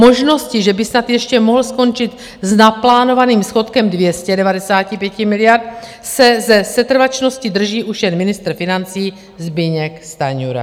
Možnosti, že by snad ještě mohl skončit s naplánovaným schodkem 295 miliard, se ze setrvačnosti drží už jen ministr financí Zbyněk Stanjura.